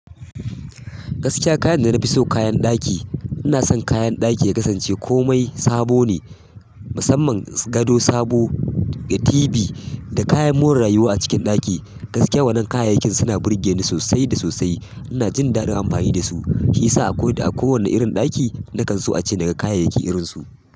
Gaskiya, kayan da na fi so kayan ɗaki. Ina son kayan ɗaki ya kasance komai sabo ne, musamman gado sabo da TV da kayan more rayuwa a cikin ɗaki. Gaskiya wann kayayyakin suna burgeni sosai ina jin daɗin amfani da su, shi ya sa a ko da a kowane irin ɗaki na kan so a ce daga kayayyaki irinsu.